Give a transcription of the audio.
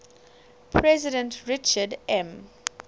president richard m